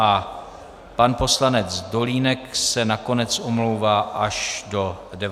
A pan poslanec Dolínek se nakonec omlouvá až do 19 hodin.